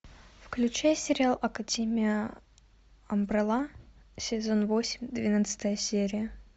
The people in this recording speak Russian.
включай сериал академия амбрелла сезон восемь двенадцатая серия